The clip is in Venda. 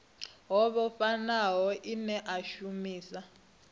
ho vhofhanaho ine a shumisa